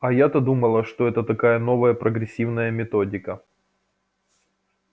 а я-то думала что это такая новая прогрессивная методика